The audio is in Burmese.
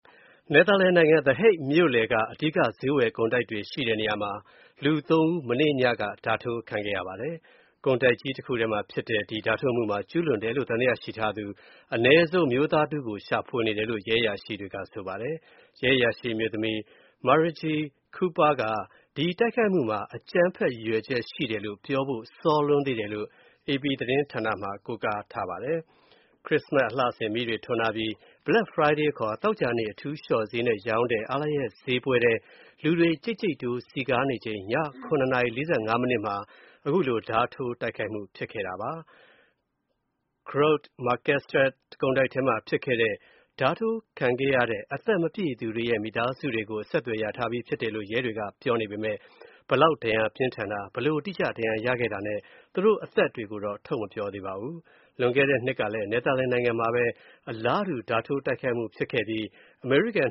နယ်သာလန်နိုင်ငံ The Hague မြို့လယ်က အဓိက ဈေးဝယ်ကုန်တိုက်တွေ ရှိတဲ့နေရာမှာ လူသုံးဦး သောကြာညက ဓားထိုး တိုက်ခိုက်ခံရပါတယ်။ အဲဒီလူတွေဟာ အသက်မပြည့်သေးသူတွေဖြစ်တယ်လို့ သတင်းတွေမှာ ဖော်ပြကြပါတယ်။ ကုန်တိုက်ကြီးတစ်ခုထဲမှာဖြစ်တဲ့ ဒီတိုက်ခိုက်မှုအတွက် သံသယရှိသူ အမျိုးသားတစ်ဦးထက် မနည်းကို ရှာဖွေနေတယ်လို့ ရဲအရာရှိတွေက ဆိုပါတယ်။ အမျိုးသမီးရဲအရာရှိ Marije Kuiper က ဒီတိုက်ခိုက်မူမှာ အကြမ်းဖက်ရည်ရွယ်ချက်ရှိတယ်လို့ ပြောဖို့ စောလွန်းနေသေးတယ်လို့ပြောကြောင်း AP သတင်းတပုဒ်မှာ ရေးထားပါတယ်။ ခရစ်စ္စမတ်စ် အလှဆင်မီးတွေထွန်းထားပြီး Black Friday ခေါ် သောကြာနေ့ အထူးလျှော့ဈေးနဲ့ ရောင်းတဲ့ အားလပ်ရက်ပွဲထဲ လူတွေ ကြိတ်ကြိတ်တိုး စည်ကားနေချိန် ည ၇ နာရီ ၄၅ မိနစ် အချိန်မှာ တိုက်ခိုက်မှုဖြစ်တာပါ။ Grote Marktstraat ကုန်တိုက်ထဲမှာဖြစ်တဲ့ ဓားနဲ့ တိုက်ခိုက်မှုမှာ ဒဏ်ရာရသွားသူတွေရဲ့ မိသားစုတွေနဲ့ အဆက်အသွယ်ရထားပြီးဖြစ်တယ်လို့ ရဲတွေက ပြောနေပေမယ့် ဘယ်လောက် ဒဏ်ရာပြင်းထန်တယ်၊ ဘယ်လို ဒဏ်ရာရခဲ့တယ်ဆိုတာနဲ့ သူတို့အသက်တွေကို ထုတ်မပြော သေးပါဘူး။ လွန်ခဲ့တဲ့နှစ်ကလည်း နယ်သာလန်နိုင်ငံမှာ အလားတူ ဓားနဲ့တိုက်ခိုက်မူဖြစ်ခဲ့ပြီး အမေရိကန်